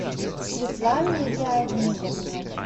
светлане леонидовне